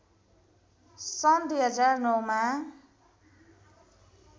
सन् २००९ मा